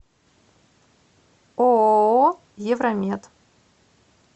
ооо евромед